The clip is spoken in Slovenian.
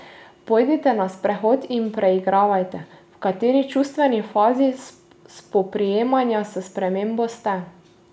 Pojdite na sprehod in preigravajte, v kateri čustveni fazi spoprijemanja s spremembo ste.